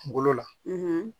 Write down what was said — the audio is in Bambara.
Kungolo la